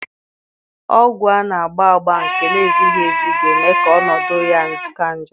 Ọgwu a na-agba agba nke na-ezighi ezi ga-eme ka ọnọdụ ya ka njọ.